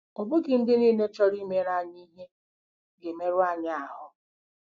Ọ bụghị ndị niile chọrọ imere anyị ihe ga-emerụ anyị ahụ́.